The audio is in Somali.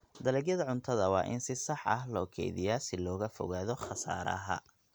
Dalagyada cuntada waa in si sax ah loo kaydiyaa si looga fogaado khasaaraha.